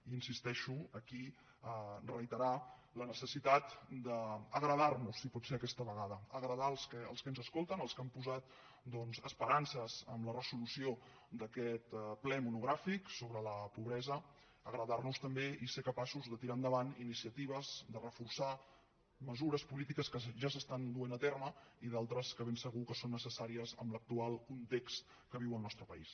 i hi insisteixo aquí reiterar la necessitat d’agradar nos si pot ser aquesta vegada agradar els que ens escolten els que han posat doncs esperances en la resolució d’aquest ple monogràfic sobre la pobresa agradar los també i ser capaços de tirar endavant iniciatives de reforçar mesures polítiques que ja s’estan duent a terme i d’altres que ben segur que són necessàries en l’actual context que viu el nostre país